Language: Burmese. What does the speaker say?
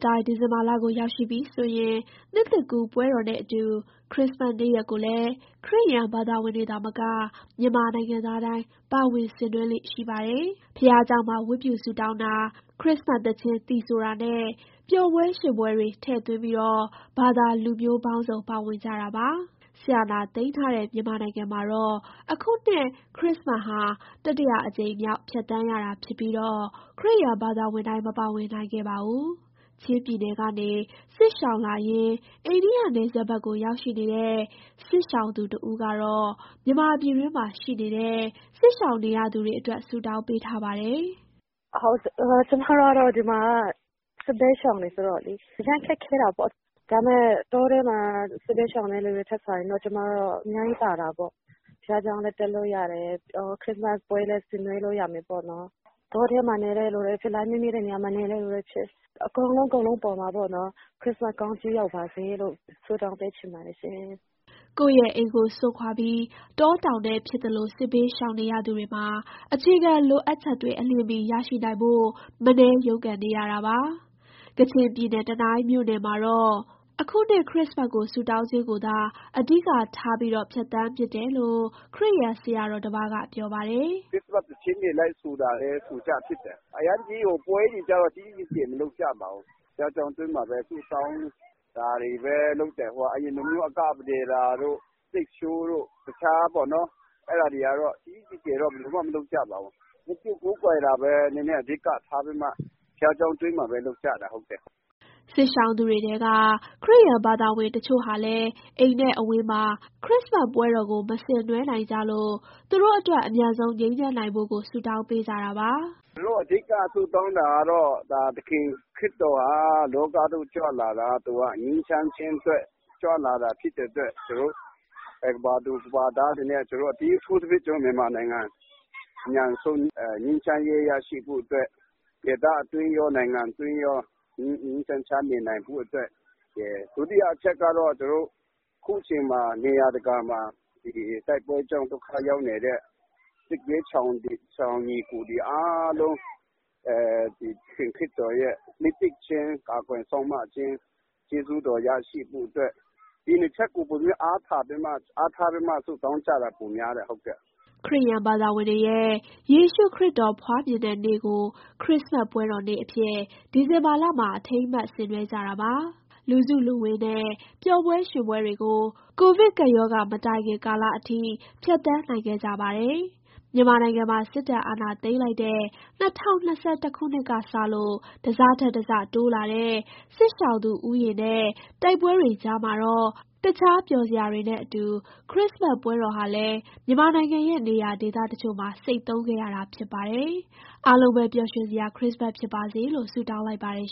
တိုင်း ဒီဇင်ဘာလကို ရောက်ရှိပြီဆိုရင် နှစ်သစ်ကူးပွဲတော်နဲ့အတူ ခရစ္စမတ်နေ့ရက်ကိုလည်း ခရစ်ယန်ဘာသာဝင်တွေ သာမက မြန်မာနိုင်ငံသားတိုင်းပါဝင် ဆင်နွှဲလေ့ရှိပါတယ်။ ဘုရားကျောင်းမှာ ဝတ်ပြုဆုတောင်းတာ၊ ခရစ္စမတ်သီချင်း သီဆိုတာနဲ့ ပျော်ပွဲရွှင်ပွဲတွေ ထည့်သွင်းပြီး ဘာသာလူမျိုးပေါင်းစုံ ပါဝင်ကြတာပါ။ စစ်အာဏာသိမ်းထားတဲ့ မြန်မာနိုင်ငံမှာတော့ အခုနှစ် ခရစ္စမတ်ဟာ တတိယအကြိမ်မြောက် ဖြတ်သန်းရတာဖြစ်ပြီး၊ ခရစ်ယာန်ဘာသာဝင်တိုင်း မပါဝင်နိုင်ခဲ့ပါဘူး။ ချင်းပြည်နယ်ကနေ စစ်ရှောင်လာရင်း အိန္ဒိယနယ်စပ်ဘက်ကို ရောက်ရှိနေတဲ့ စစ်ရှောင်သူတဦးကတော့ မြန်မာပြည်တွင်းမှာ ရှိနေတဲ့ စစ်ရှောင်နေရသူတွေအတွက် ဆုတောင်းပေးထားပါတယ်။ "ကျမတို့ကတော့ ဒီမှာက စစ်ဘေးရှောင်တွေ ဆိုတော့လေ အရမ်းခက်ခဲတာပေါ့။ ဒါပေမဲ့ တောထဲမှာ စစ်ဘေးရှောင်နေတဲ့ လူတွေထက်စာရင်တော့ ကျမတို့ အများကြီးသာတာပေါ့။ ဘုရားကျောင်းလည်း တက်လို့ရတယ်။ ခရစ္စမတ်ပွဲလည်း ဆင်နွှဲလို့ ရမယ်ပေါ့နော်။ တောထဲမှာနေတဲ့လူတွေ၊ ဖုန်းလိုင်းမမိတဲ့ နေရာမှာနေတဲ့လူတွေ အကုန်လုံးအပေါ်မှာ ခရစ္စမတ်ကောင်းချီး ရောက်ပါစေလို့ ဆုတောင်းပေးချင် ပါတယ်ရှင်။" ကိုယ့်ရဲ့အိမ်ကို စွန့်ခွာပြီး တောတောင်ထဲ ဖြစ်သလို စစ်ဘေးရှောင်နေရ သူတွေမှာ အခြေခံလိုအပ်ချက်တွေ အလျင်မီရရှိနိုင်ဖို့ မနည်းရုန်းကန်နေရတာပါ။ ကချင်ပြည်နယ်၊ တနိုင်းမြို့နယ်မှာတော့ အခုနှစ် ခရစ္စမတ်ကို ဆုတောင်းခြင်းကိုသာ အဓိကထားပြီး ဖြတ်သန်းဖြစ်တယ်လို့ ခရစ်ယာန်ဆရာတော်တပါးက ပြောပါတယ်။ "ခရစ္စမတ် သီချင်းတွေ လိုက်ဆိုဖြစ်တယ်။ အရမ်းကြီး ပွဲတွေကြီးကြီးကျယ်ကျယ် မလုပ်ကြပါဘူး။ ဘုရားကျောင်း အတွင်းမှာပဲ ဆုတောင်းတာ ဒါတွေပဲလုပ်တယ်။ အရင်လိုမျိုး အကပဒေသာတို့၊ စတိတ်ရှိုးတို့ အဲဒါတွေကတော့ ကြီးကြီးကျယ်ကျယ် ဘယ်သူမှ မလုပ်ကြပါဘူး။ ဝတ်ပြုကိုးကွယ်တာပဲ အဓိကထားပြီးတော့ ဘုရားကျောင်း အတွင်းမှာပဲ လုပ်ကြတာ။" စစ်ရှောင်သူတွေထဲက ခရစ်ယာန်ဘာသာဝင် တချို့ဟာလည်း အိမ်နဲ့အဝေးမှာ ခရစ္စမတ်ပွဲတော်ကို မဆင်နွှဲနိုင်ကြလို့ သူတို့အတွက် အမြန်ဆုံး ငြိမ်းချမ်းနိုင်ဖို့ကို ဆုတောင်းပေးကြတာပါ။ "သူတို့ အဓိက ဆုတောင်းတာကတော့ သခင်ခရစ်တော်ဟာ လောကသို့ ကြွလာတာ ငြိမ်းချမ်းခြင်းအတွက် ကြွလာတာ ဖြစ်တဲ့အတွက် ကမ္ဘာသူ ကမ္ဘာသားတွေနဲ့ အထူးသဖြင့် ကျနော်တို့ မြန်မာနိုင်ငံ အမြန်ဆုံး ငြိမ်းချမ်းရေး ရရှိဖို့အတွက်၊ ဒေသအတွင်းရော နိုင်ငံအတွင်းရော ငြိမ်းငြိမ်းချမ်းချမ်း နေနိုင်ဖို့အတွက်ရယ်။ ဒုတိယအချက်ကတော့ အခုချိန်ခါ နေရာတကာမှာ တိုက်ပွဲကြောင့် ဒုက္ခရောက်နေတဲ့ စစ်ဘေးရှောင် ညီအစ်ကိုတွေအားလုံး သခင်ခရစ်တော်ရဲ့ နှစ်သိမ့်ခြင်း၊ ကာကွယ်စောင်မခြင်း၊ ကျေးဇူးတော် ရရှိဖို့အတွက် ဒီနှစ်ချက်ကို အဓိက အားထားပြီးတော့ ဆုတောင်းကြတာ ပိုများတယ်။" ခရစ်ယာန်ဘာသာဝင်တွေရဲ့ ယေရှုခရစ်တော် ဖွားမြင်တဲ့နေ့ကို ခရစ္စမတ်ပွဲတော်နေ့အဖြစ် ဒီဇင်ဘာလမှာ အထိမ်းအမှတ် ဆင်နွှဲကြတာပါ။ လူစုလူဝေးနဲ့ ပျော်ပွဲရွှင်ပွဲတွေကို ကိုဗစ်ကပ်ရောဂါ မတိုင်ခင်ကာလအထိ ဖြတ်သန်းနိုင်ခဲ့ကြပါတယ်။ မြန်မာနိုင်ငံမှာ စစ်တပ်အာဏာသိမ်းလိုက်တဲ့ ၂၀၂၁ ခုနှစ်ကစလို့ တစထက်တစ တိုးလာတဲ့ စစ်ရှောင်သူဦးရေနဲ့ တိုက်ပွဲတွေကြားမှာတော့ တခြားပျော်စရာတွေနဲ့အတူ ခရစ္စမတ်ပွဲတော်ဟာလည်း မြန်မာနိုင်ငံရဲ့ နေရာဒေသတချို့မှာ ဆိတ်သုဉ်းခဲ့ရတာ ဖြစ်ပါတယ်။ အားလုံးပဲ ပျော်ရွှင်စရာ ခရစ္စမတ်ဖြစ်ပါစေလို့ ဆုတောင်းလိုက်ပါတယ်